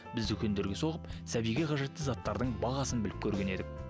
біз дүкендерге соғып сәбиге қажетті заттардың бағасын біліп көрген едік